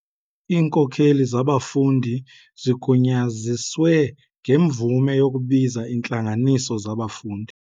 Iinkokeli zabafundi zigunyaziswe ngemvume yokubiza iintlanganiso zabafundi.